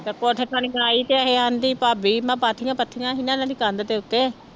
ਤੇ ਕੋਠੇ ਥਣੀ ਆਈ ਤੇ ਕਹਿੰਦੀ ਭਾਬੀ ਮੈਂ ਪਾਥੀਆਂ ਪੱਥੀਆਂ ਸੀ ਨਾ ਇਹਨਾਂ ਦੀ ਕੰਧ ਦੇ ਉੱਤੇ